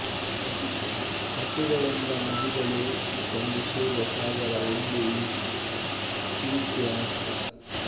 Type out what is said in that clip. ಕಥೆಗಳೆಂಬ ನದಿಗಳು ಬಂದು ಸೇರುವ ಸಾಗರ ಎಂದು ಈ ಶೀರ್ಷಿಕೆಯ ಅರ್ಥ